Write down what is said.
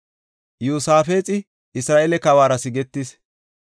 Iyosaafexi Isra7eele kawuwara sigetis.